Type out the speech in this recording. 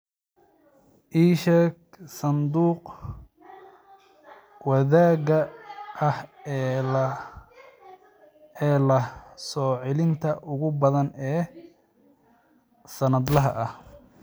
ii sheeg sanduuqa wadaagga ah ee leh soo-celinta ugu badan ee sannadlaha ah